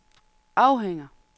afhænger